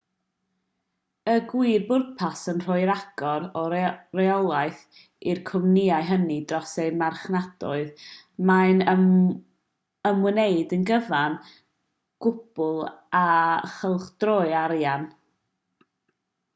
y gwir bwrpas yw rhoi rhagor o reolaeth i'r cwmnïau hynny dros eu marchnadoedd mae'n ymwneud yn gyfan gwbl â chylchdroi arian